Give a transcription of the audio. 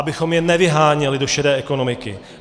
Abychom je nevyháněli do šedé ekonomiky.